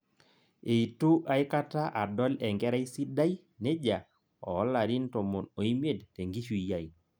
Eitu aikata adol enkerai sidai nejia oolarin tomon oimet tenkishui ai